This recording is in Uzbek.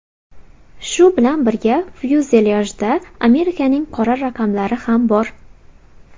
Shu bilan birga, fyuzelyajda Amerikaning qora raqamlari ham bor.